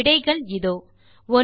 விடைகள் இதோ 1